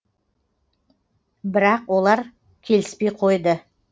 бірақ олар келіспей қойды